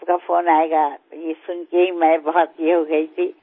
આપનો ફોન આવશે તે સાંભળીને હું ઘણી બધી એ થઈ ગઈ હતી